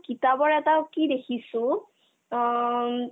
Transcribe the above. কিতাপৰ এটা কি দেখিছো অ উম